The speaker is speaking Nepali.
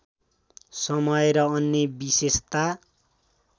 समय र अन्य विशेषता